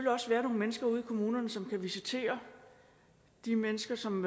også være nogle mennesker ude i kommunerne som kan visitere de mennesker som